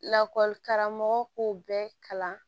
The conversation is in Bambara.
Lakɔli karamɔgɔ k'o bɛɛ kalan